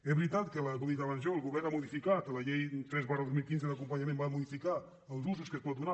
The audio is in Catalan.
és veritat que com he dit abans jo el govern ha modificat la llei tres dos mil quinze d’acompanyament i va modificar els usos que s’hi pot donar